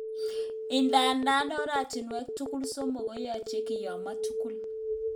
Idadan oratinwek tugul somok koyoche kiyomo tugul.